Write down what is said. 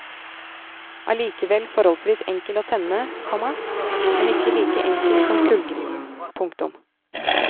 Allikevel forholdsvis enkel å tenne, komma men ikke like enkel som kullgrillen. punktum